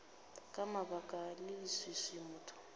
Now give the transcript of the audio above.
ka baka la leswiswi motho